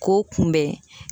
K'o kunbɛn.